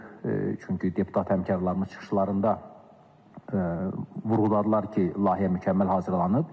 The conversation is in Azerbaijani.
Çünki deputat həmkarlarımız çıxışlarında vurğuladılar ki, layihə mükəmməl hazırlanıb.